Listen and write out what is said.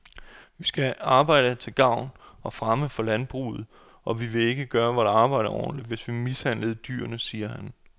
Vi skal arbejde til gavn og fremme for landbruget, og vi ville ikke gøre vort arbejde ordentligt, hvis vi mishandlede dyrene, siger han.